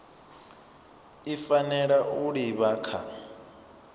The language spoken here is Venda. i fanela u livha kha